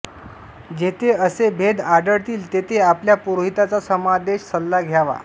जेथे असे भेद आढळतील तेथे आपल्या पुरोहितांचा समादेश सल्ला घ्यावा